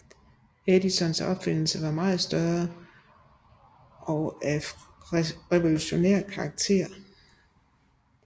Edisons opfindelse var meget større og af mere revolutionerende karakter